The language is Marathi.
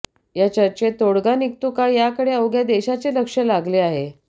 या चर्चेत तोडगा निघतो का याकडे अवघ्या देशाचे लक्ष लागले आहे